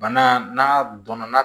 Bana n'a donna